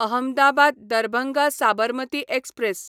Ahmedabad Darbhanga Sabarmati express